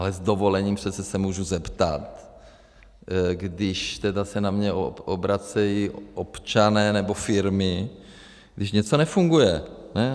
Ale s dovolením, přece se můžu zeptat, když se na mě obracejí občané nebo firmy, když něco nefunguje.